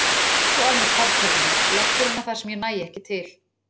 Rífur svo af mér fartölvuna, leggur hana þar sem ég næ ekki til.